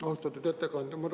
Austatud ettekandja!